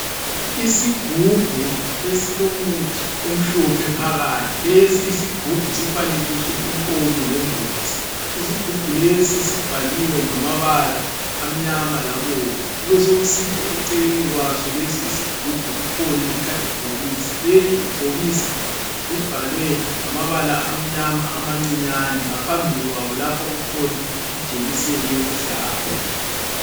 Isigubhu esilomuthi omhlophe phakathi, lesi isigubhu sifanekiswe inkomo le mbuzi, isigubhu lesi sibhaliwe ngamabala amnyama labomvu, kubesokusithi eceleni kwaso lesi isigubhu kukhona ikhadibhokisi, leli ibhokisi libhalwe ngamabala amnyama amancinyane ngaphambili kwawo lapha kukhona ijekiseni yokuhlaba.